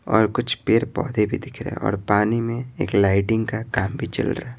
और कुछ पेड़-पौधे भी दिख रहे हैं और पानी में एक लाइटिंग का काम भी चल रहा है।